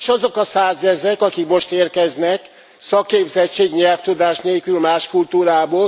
És azok a százezrek, akik most érkeznek, szakképzettség, nyelvtudás nélkül, más kultúrából?